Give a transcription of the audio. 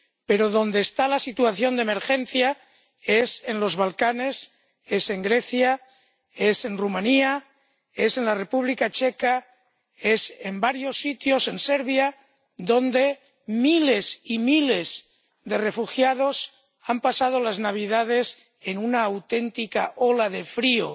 Pero donde está la situación de emergencia es en los Balcanes, es en Grecia, es en Rumanía, es en la República Checa, es en varios sitios de Serbia, donde miles y miles de refugiados han pasado las Navidades en una auténtica ola de frío